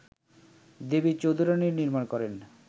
দেবী চৌধুরাণী নির্মাণ করেন